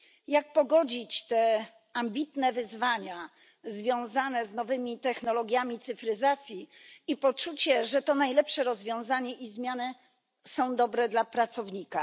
Jak pogodzić te ambitne wyzwania związane z nowymi technologiami cyfryzacji i poczucie, że to najlepsze rozwiązanie i zmiany są dobre dla pracownika?